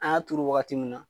An y'a turu wagati mun na